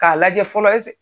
K'a lajɛ fɔlɔ